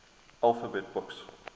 alphabet books